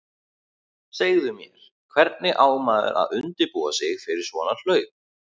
Segðu mér, hvernig á maður að undirbúa sig fyrir svona hlaup?